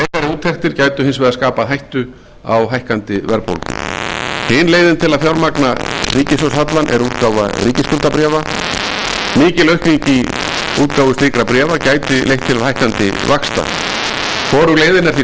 úttektir gætu hins vegar skapað hættu á hækkandi verðbólgu hin leiðin til að fjármagna ríkissjóðshallann er útgáfa ríkisskuldabréfa mikil aukning í útgáfu slíkra bréfa gæti leitt til hækkandi vaxta hvorug leiðin er því